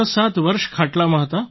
67 વર્ષ ખાટલામાં હતા